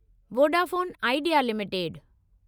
Vodafone Idea limited